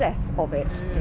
er